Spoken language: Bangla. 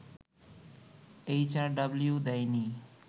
এইচআরডব্লিউ দেয়নি